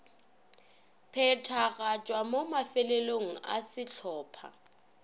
phethagatšwa mo mafelelong a sehlopha